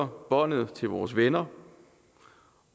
båndet til vores venner